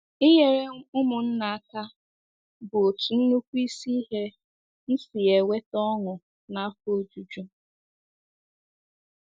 Inyere ụmụnna aka bụ otu nnukwu isi ihe m si ya enweta ọṅụ na afọ ojuju! ”